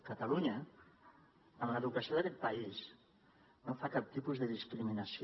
catalunya en l’educació d’aquest país no fa cap tipus de discriminació